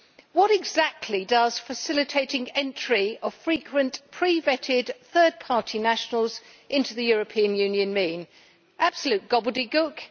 What exactly does facilitating entry of frequent pre vetted third party nationals into the European Union mean? Absolute gobbledygook!